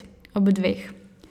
Ob dveh.